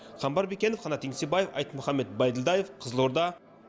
қамбар бекенов қанат еңсебаев айтмұхамбет бәйділдаев қызылорда